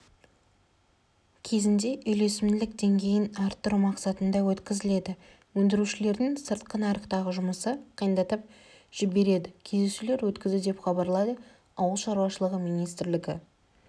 кезінде үйлесімділік деңгейін арттыру мақсатында өткізіледі өндірушілердің сыртқы нарықтағы жұмысын қиындатып жебереді кездесулер өткізді деп хабарлайды ауыл шаруашылығы министрлігі